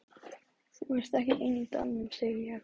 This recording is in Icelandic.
Þú ert þá ekki ein í dalnum, segi ég.